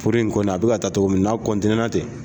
Furu in kɔni a be ka taa togo min n'a kɔntiniyera ten